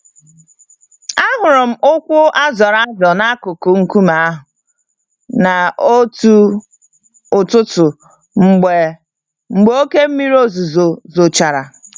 Ahụrụ m ụkwụ azọrọ azọ n'akụkụ nkume ahụ n'otu ụtụtụ mgbe mgbe oké mmírí ozuzo zochara